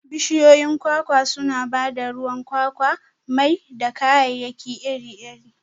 Bishiyoyin kwakwa suna ba da ruwan kwakwa, mai, da kayayyaki iri-iri.